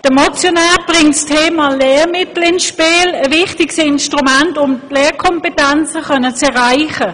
Der Motionär bringt das Thema Lehrmittel ins Spiel, ein wichtiges Instrument, um die Lesekompetenz stärken zu können.